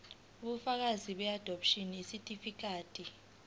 ubufakazi beadopshini isitifikedi